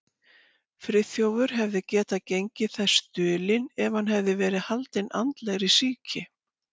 Friðþjófur hefði getað gengið þess dulinn, ef hann hefði verið haldinn andlegri sýki.